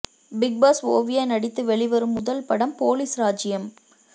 big Boss Oviya நடித்து வெளிவரும் முதல் படம் போலீஸ் ராஜ்ஜியம்